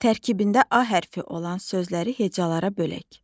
Tərkibində A hərfi olan sözləri hecalara bölək.